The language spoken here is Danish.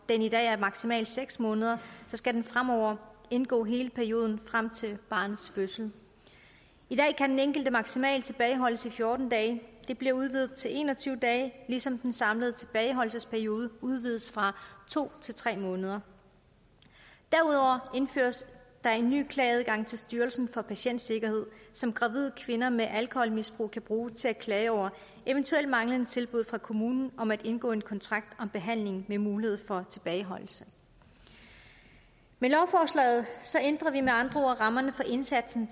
den i dag er maksimalt seks måneder skal den fremover indgå i hele perioden frem til barnets fødsel i dag kan den enkelte maksimalt tilbageholdes i fjorten dage det bliver udvidet til en og tyve dage ligesom den samlede tilbageholdelsesperiode udvides fra to til tre måneder derudover indføres der en ny klageadgang til styrelsen for patientsikkerhed som gravide kvinder med alkoholmisbrug kan bruge til at klage over eventuelt manglende tilbud fra kommunen om at indgå en kontrakt om behandling med mulighed for tilbageholdelse med lovforslaget ændrer vi med andre ord rammerne for indsatsen